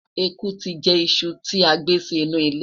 ẹkú ti jẹ iṣu ti agbé Si inú ile